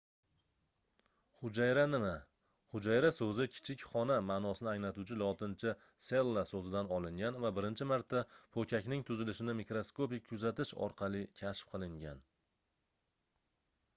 hujayra nima hujayra soʻzi kichik xona maʼnosini anglatuvchi lotincha cella soʻzidan olingan va birinchi marta poʻkakning tuzilishini mikroskopik kuzatish orqali kashf qilingan